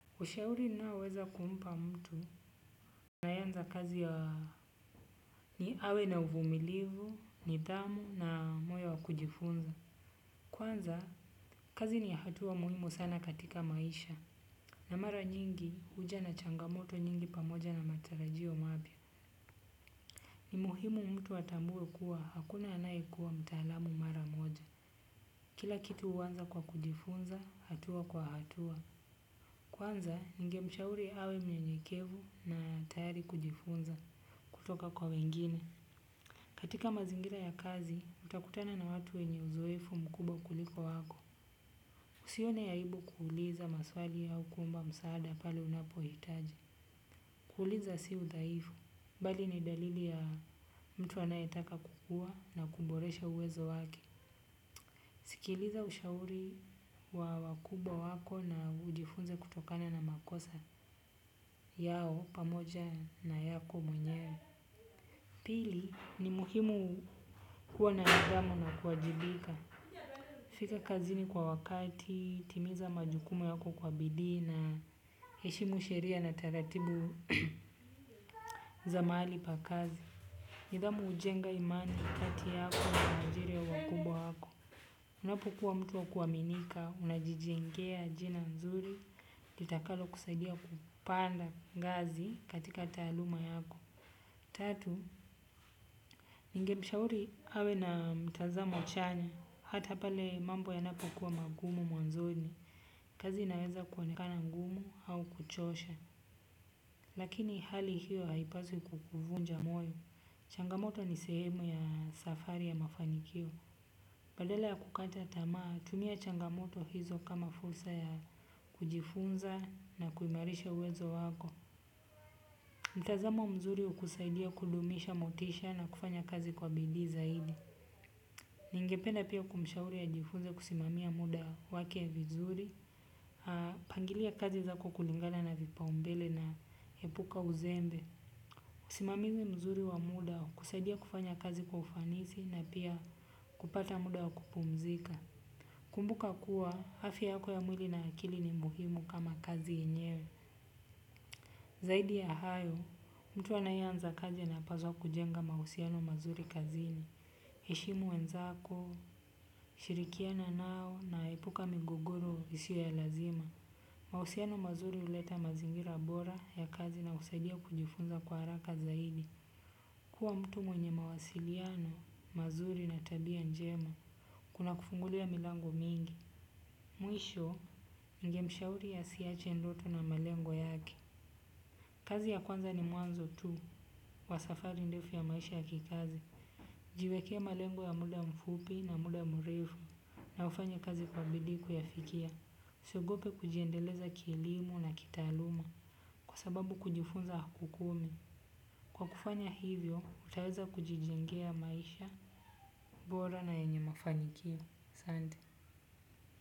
Ushauri ninaoweza kumpa mtu, anapoanza kazi awe na uvumilivu, nidhamu na moyo wa kujifunza. Kwanza, kazi ni hatua muhimu sana katika maisha. Na mara nyingi huja na changamoto nyingi pamoja na matarajio mapya. Ni muhimu mtu atambue kuwa hakuna anayekuwa mtalamu mara moja. Kila kitu huanza kwa kujifunza hatua kwa hatua. Kwanza, ningemshauri awe mnyenyekevu na tayari kujifunza. Kutoka kwa wengine. Katika mazingira ya kazi utakutana na watu wenye uzoefu mkubwa kuliko wako. Usione aibu kuuliza maswali au kuomba msaada pale unapohitaji. Kuuliza sio udhaifu, bali ni dalili ya mtu anayetaka kukua na kuboresha uwezo wake. Sikiliza ushauri wa wakubwa wako na ujifunze kutokana na makosa yao pamoja na yako mwenyewe. Pili ni muhimu kuwa na nidhamu na kuwajibika. Fika kazini kwa wakati, timiza majukumu yako kwa bidii na, heshimu sheria na taratibu za mahali pa kazi. Nidhamu hujenga imani kati yako na ajiri ya wakubwa yako. Unapokuwa mtu wa kuaminika, unajijengea jina nzuri, litakalo kusaida kupanda ngazi katika taaluma yako. Tatu, ningemshauri awe na mtazamo chanya, hata pale mambo yanapokuwa magumu mwanzoni. Kazi inaweza kuonekana ngumu au kuchosha. Lakini hali hio haipaswi kukuvunja moyo. Changamoto ni sehemu ya safari ya mafanikio. Badala ya kukata tamaa, tumia changamoto hizo kama fursa ya kujifunza na kuimarisha uwezo wako. Mtazamo mzuri hukusaidia kudumisha motisha na kufanya kazi kwa bidii zaidi. Ningependa pia kumshauri ajifunze kusimamia muda wake vizuri, pangilia kazi zako kulingana na vipaumbele na epuka uzembe. Usimamizi mzuri wa muda kusaidia kufanya kazi kwa ufanisi na pia kupata muda wa kupumzika. Kumbuka kuwa, afya yako ya mwili na ya akili ni muhimu kama kazi yenyewe. Zaidi ya hayo, mtu anaye anza kazi anapaswa kujenga mahusiano mazuri kazini. Heshimu wenzako, shirikiana nao na epuka migogoro isio ya lazima. Mahusiano mazuri huleta mazingira bora ya kazi na husaidia kujifunza kwa haraka zaidi. Kuwa mtu mwenye mawasiliano, mazuri na tabia njema. Kuna kufungulia milango mingi. Mwisho, ningemshauri asiache ndoto na malengo yake. Kazi ya kwanza ni mwanzo tu, wa safari ndefu ya maisha ya kikazi. Jiwekee malengo ya muda mfupi na muda mrefu. Na ufanye kazi kwa bidii kuyafikia. Usiogope kujiendeleza kielimu na kitaaluma. Kwa sababu kujifunza hakukomi. Kwa kufanya hivyo, utaweza kujijengea maisha, bora na yenye mafanikio. Asante.